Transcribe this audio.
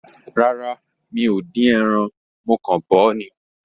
Rárá, mi ò dín ẹran. Mo kàn bọ̀ ọ́ lásán ni.